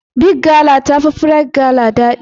Big gala ta fi Rite gala ɗadi.